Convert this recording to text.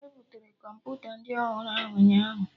E butere Kọmputa ndị ọhụrụ ahụ ụnyaahụ